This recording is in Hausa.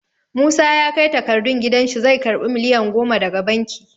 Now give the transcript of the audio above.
Musa ya kai takardun gidan shi zai karɓi miliyan goma daga banki.